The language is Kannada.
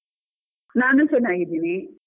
ನಾನು ಚೆನ್ನಾಗಿದ್ದೀನಿ.